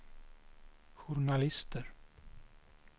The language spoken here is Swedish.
journalister